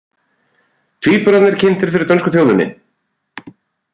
Tvíburarnir kynntir fyrir dönsku þjóðinni